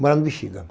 Morar no Bixiga.